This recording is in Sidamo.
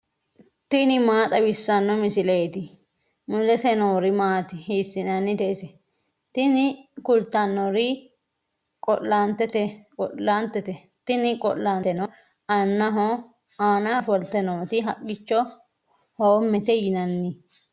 tini maa xawissanno misileeti ? mulese noori maati ? hiissinannite ise ? tini kultannori qo'laantete, tini qo'llaanteno aanaho ofolte nooti haqqicho hoommete yinanni.